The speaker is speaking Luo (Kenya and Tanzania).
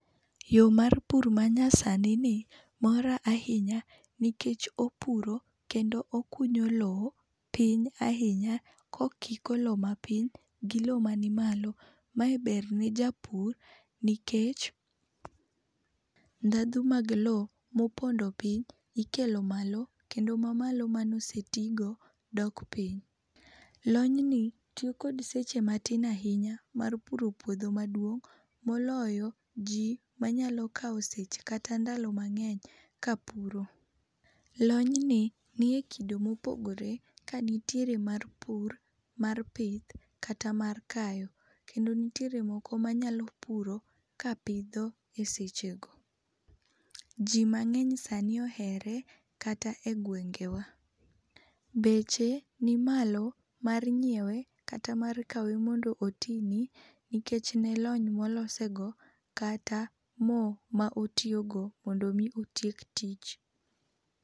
Yor mar pur ma nyasani nimora ahinya nikech opuro kendo okunyo loo piny ahinya ka okiko loo ma piny gi la ma ni malo ma ber ne japur nikech dhandhu mar loo ma ni piny ikelo malo kendo loo ma malo ma ne ose ti go dok piny. Lony ni tiyo kod seche matin ahinya mar puro puodho maduong moloyo ji ma nyalo kao seche kata ndalo mang'eny ka puro. Lony ni e kido ma opogore ka nitiere mar pur, mar pith ,kata mar kayo. Kendo nitiere moko ma nyalo puro ka pitho e seche go. Ji mang'eny sa ni ohere kata e gwengewa, beche ni malo mar nyiewe kata mar kawe mondo oti nikech lony ne ma olose go kata moo ma otiyo go mondo mi otiek tich.